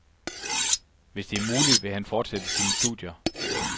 Hvis det er muligt, vil han fortsætte sine studier.